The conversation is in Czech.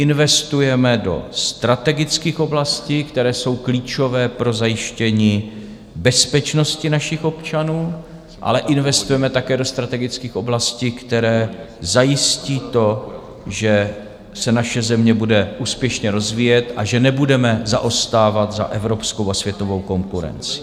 Investujeme do strategických oblastí, které jsou klíčové pro zajištění bezpečnosti našich občanů, ale investujeme také do strategických oblastí, které zajistí to, že se naše země bude úspěšně rozvíjet a že nebudeme zaostávat za evropskou a světovou konkurencí.